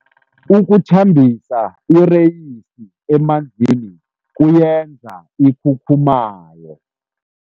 Ukuthambisa ireyisi emanzini kuyenza ikhukhumaye.